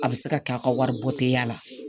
A bɛ se ka kɛ a ka wari bɔ tɛ ye a la